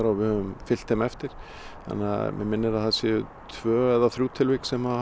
og fylgt þeim eftir og mig minnir að það séu tvö eða þrjú tilvik sem